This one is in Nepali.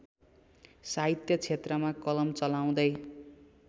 साहित्यक्षेत्रमा कलम चलाउँदै